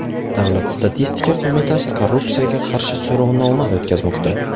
Davlat statistika qo‘mitasi korrupsiyaga qarshi so‘rovnoma o‘tkazmoqda.